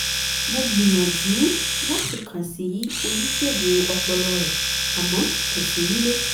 mo gbìyànjú láti kàn sí oníṣègùn ọpọlọ rẹ̀ àmọ́ kò sí nílé